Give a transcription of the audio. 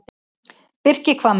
Birkihvammur